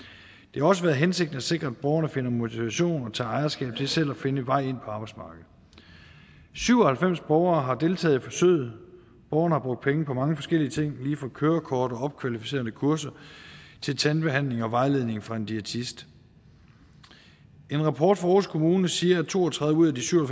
har også været hensigten at sikre at borgerne finder motivation og tager ejerskab til selv at finde vej ind på arbejdsmarkedet syv og halvfems borgere har deltaget i forsøget borgerne har brugt penge på mange forskellige ting lige fra kørekort og opkvalificerende kurser til tandbehandling og vejledning fra en diætist en rapport fra aarhus kommune siger at to og tredive ud af de syv og